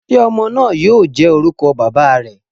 Ṣe ọmọ naa yoo jẹ orukọ baba rẹ?